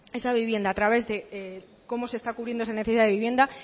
esa vivienda a través de cómo se está cubriendo esa necesidad vivienda